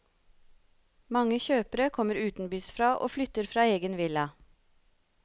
Mange kjøpere kommer utenbys fra og flytter fra egen villa.